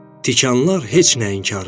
Tikanlar heç nəyin xarıdır.